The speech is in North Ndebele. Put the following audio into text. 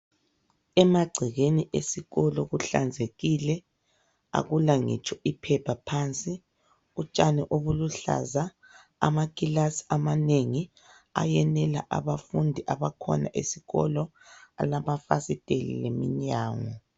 Emagcekeni esikolo kuhlanzekile. Akulangitsho iphepha phansi. Utshani obuluhlaza, amakilasi amanengi, ayenela abafundi abakhona esikolo. Alamafasitela, leminyango.